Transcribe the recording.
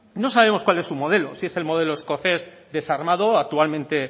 no sabemos cuál es su modelo si es el modelo escocés desarmado actualmente